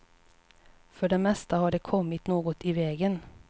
För det mesta har det kommit något i vägen.